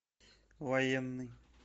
военный